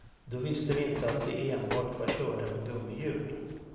Då visste vi inte att de enbart var körda med gummihjul.